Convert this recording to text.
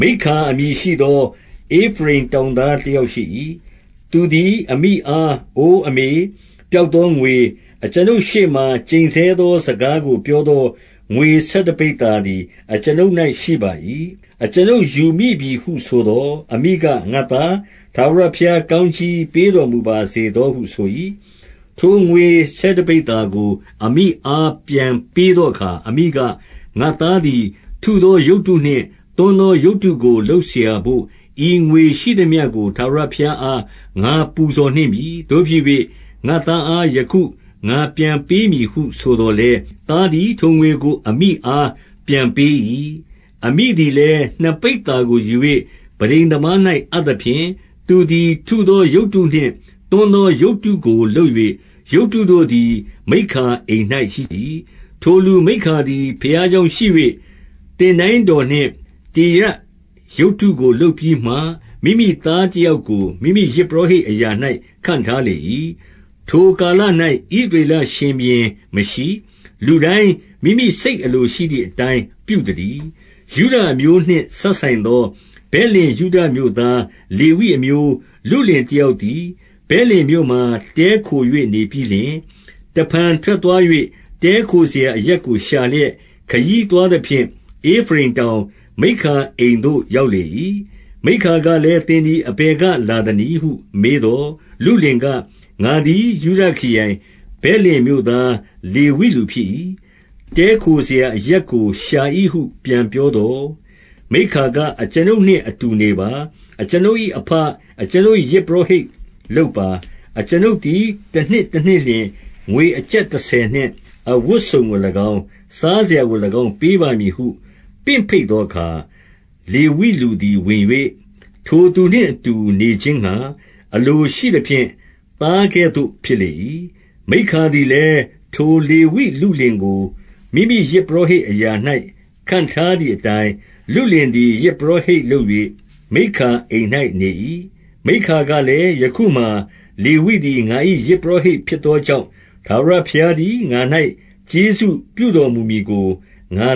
မိက္ခာအမည်ရှိသော ဧဖရိမ်တောင်သား တယောက်ရှိ၏။ 2 သူသည် အမိအား၊ အိုအမေ၊ ပျောက်သောငွေ၊ အကျွန်ုပ်ရှေ့မှာ ကျိန်ဆဲသော စကားကို ပြောသော ငွေဆယ်တပိဿာသည် အကျွန်ုပ်၌ ရှိပါ၏။ အကျွန်ုပ်ယူမိပြီဟု ဆိုသော်၊ အမိက၊ ငါ့သား၊ ထာဝရ ဘုရားကောင်းကြီး ပေးတော်မူပါစေသောဟု ဆို၏။- 3 ထိုငွေဆယ်တပိဿာကို အမိအား ပြန်ပေးသောအခါ၊ အမိက၊ ငါ့သားသည် ထုသောရုပ်တုနှင့် သွန်းသော ရုပ်တုကိုလုပ်စရာဘို့ ဤငွေရှိသမျှကို ထာဝရဘုရားအား ငါပူဇော်နှင့်ပြီ။ 4 သို့ဖြစ်၍ ငါ့သားအား ယခု ငါပြန်ပေးမည်ဟု ဆိုသော်လည်း၊ သားသည် ထိုငွေကို အမိအား ပြန်ပေး၏။ အမိသည်လည်း နှစ်ပိဿာကိုယူ၍ ပန်းတိမ်သမား၌ အပ်သဖြင့်၊ သူသည် ထုသောရုပ်တုနှင့် သွန်းသော ရုပ်တုကိုလုပ်၍ ရုပ်တုတို့သည် မိက္ခာအိမ်၌ ရှိ၏။ 5 ထိုလူမိက္ခာသည် ဘုရားကျောင်းရှိ၍၊ သင်တိုင်းတော်နှင့် တေရပ်ရုပ်တုကို လုပ်ပြီးမှ၊ မိမိ သားတယောက်ကို မိမိယဇ်ပုရောဟိတ်အရာ၌ ခန့်ထားလေ၏။ 6 ထိုကာလ၌ ဣသရေလရှင် ဘုရင်မရှိ။ လူတိုင်း မိမိစိတ် အလိုရှိသည်အတိုင်း ပြုသတည်း။ 7 ယုဒအမျိုးနှင့် စပ်ဆိုင်သော ဗက်လင် ယုဒမြို့သား လေဝိအမျိုး လုလင်တယောက်သည်၊ ဗက်လင် မြို့မှာ တည်းခို၍ နေပြီးလျှင်၊- 8 တဖန် ထွက်သွား၍ တည်းခိုစရာအရပ်ကို ရှာလျက် ခရီးသွားသဖြင့်၊ ဧဖရိမ်တောင်၊ မိက္ခာအိမ်သို့ ရောက်လေ၏။ 9 မိက္ခာကလည်း၊ သင်သည် အဘယ်က လာသနည်းဟု မေးသော်၊ လုလင်က၊ ငါသည် ယုဒခရိုင် ဗက်လင်မြို့သား လေဝိလူဖြစ်၏။ တည်းခိုစရာအရပ်ကို ရှာ၏ဟု ပြန်ပြောသော်၊- 10 မိက္ခာက၊ အကျွန်ုပ်နှင့်အတူ နေပါ။ အကျွန်ုပ်၏အဘ၊ အကျွန်ုပ်၏ ယဇ်ပုရောဟိတ်လုပ်ပါ။ အကျွန်ုပ်သည် တနှစ်တနှစ်လျှင် ငွေအကျပ်တဆယ်နှင့် အဝတ်စုံကို၎င်း၊ စားစရာကို၎င်း ပေးပါမည် ဟု ပင့်ဘိတ်သောအခါ၊ လေဝိဘူသည် ဝင်၍၊- 11 ထိုသူနှင့်အတူနေခြင်းငှါ အလိုရှိသဖြင့် သားကဲ့သို့ ဖြစ်လေ၏။ 12 မိက္ခာသည်လည်း၊ ထိုလေဝိလုလင်ကို မိမိယဇ်ပုရောဟိတ်အရာ၌ ခန့်ထားသည်အတိုင်း၊ လုလင်သည် ယဇ်ပုရောဟိတ် လုပ်၍ မိက္ခာအိမ်၌ နေ၏။ 13 မိက္ခာကလည်း၊ ယခုမှာ လေဝိလူသည် ငါ၏ယဇ်ပုရောဟိတ် ဖြစ်သောကြောင့်၊ ထာဝရဘုရားသည် ငါ၌ ကျေးဇူးပြုတော်မူမည်ကို ငါ